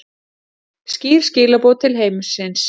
Skýr skilaboð til heimsins